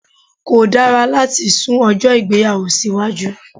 Kò dára láti sun ọjó ìgbéyàwó sí iwájú